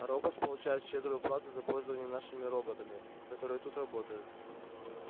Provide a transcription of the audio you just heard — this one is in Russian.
роботс получает щедрую плату за пользование нашими роботами которые тут работают